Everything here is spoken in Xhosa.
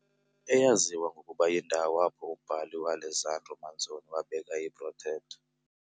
Eyaziwa ngokuba yindawo apho umbhali u-Alessandro Manzoni wabeka I-Betrothed